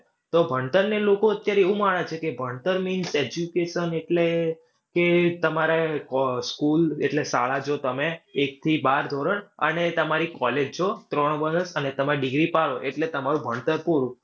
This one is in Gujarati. તો ભણતરને લોકો અત્યારે એવું માને છે કે ભણતર means education એટલે કે તમારે કો school એટલે શાળા જો તમે એકથી બાર ધોરણ, અને તમારી college ત્રણ વર્ષ, અને તમારી degree પાડો એટલે તમારું ભણતર પૂરું.